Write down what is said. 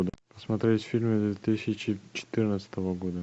смотреть фильмы две тысячи четырнадцатого года